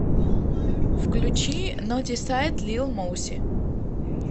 включи нотисайд лил моуси